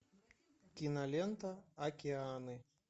кинолента океаны